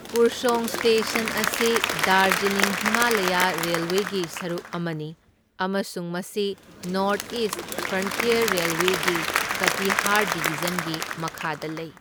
Kurseong station ꯑꯁꯤ ꯗꯥꯔꯖꯤꯂꯤꯡ ꯍꯤꯃꯥꯂꯌ ꯔꯦꯜꯋꯦꯒꯤ ꯁꯔꯨꯛ ꯑꯃꯅꯤ, ꯑꯃꯁꯨꯡ ꯃꯁꯤ ꯅꯣꯔꯠ ꯏꯁ ꯐ꯭ꯔꯟꯇ꯭ꯌꯔ ꯔꯦꯜꯋꯦꯒꯤ ꯀꯇꯤꯍꯥꯔ ꯗꯤꯕꯤꯖꯟꯒꯤ ꯃꯈꯥꯗ ꯂꯩ꯫